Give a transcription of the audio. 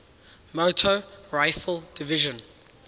motor rifle division